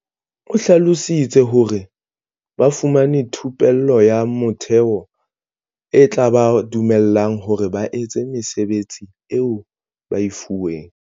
O hlalositse hore, ba fumane thupello ya motheo e tla ba dumella hore ba etse mesebetsi eo ba e fuweng.